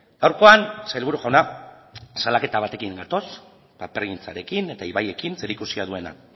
gaurkoan sailburu jauna salaketa batekin gatoz papergintzarekin eta ibaiekin zerikusia duena